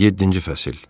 Yeddinci fəsil.